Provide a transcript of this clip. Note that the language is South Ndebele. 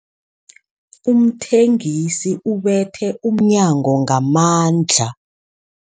Umthengisi ubethe umnyango ngamandla.